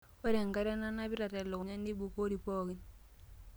Ore enkare nanapita telukunya neibukori pooki.